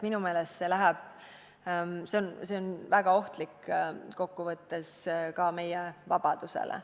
Minu meelest on see kokku võttes väga ohtlik ka meie vabadusele.